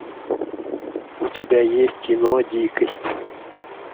у тебя есть кино дикость